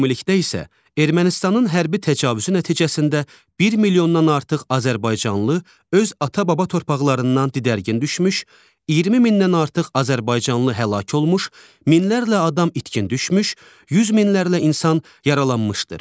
Ümumilikdə isə Ermənistanın hərbi təcavüzü nəticəsində 1 milyondan artıq azərbaycanlı öz ata-baba torpaqlarından didərgin düşmüş, 20 mindən artıq azərbaycanlı həlak olmuş, minlərlə adam itkin düşmüş, 100 minlərlə insan yaralanmışdır.